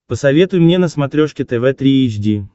посоветуй мне на смотрешке тв три эйч ди